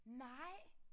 Nej